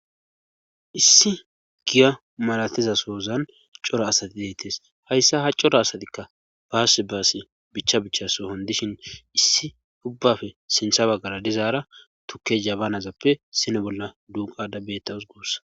issi giya malatizasoozan coro asati deettes hayssa ha coro asatikka baass baasi bicha bichaso hon dishin issi ubbafe sintha baggara dizaara tukke zabanazappe sini bolla duuqadabbeettaus guussa